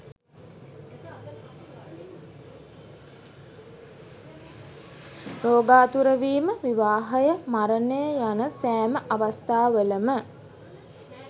රෝගාතුරවීම, විවාහය, මරණය යන සැම අවස්ථාවලම